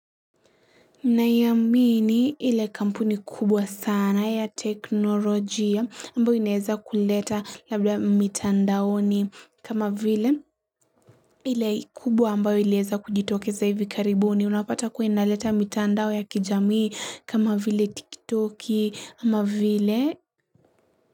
Naiamini ile kampuni kubwa sana ya teknolojia ambayo inaeza kuleta labda mitandaoni kama vile ile kubwa ambayo iliweza kujitokeza hivi karibuni. Unapata kuwa inaleta mitandao ya kijamii kama vile tiktoki ama vile.